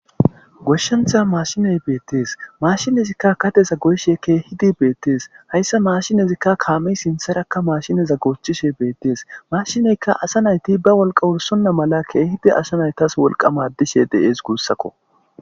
Goshshentha mashiney beettees mashinezikka kateza goyshe keehidi beettees hayssa mashinezikka kaamey sintharakka maashineza goochchishe beettees mashineyka asa nayti ba wolqa wursonna mala keehidi asa naytas wolqamadishe de7ees guussakko.